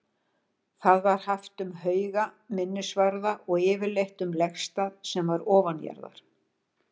Það var haft um hauga, minnisvarða og yfirleitt um legstað sem var ofanjarðar.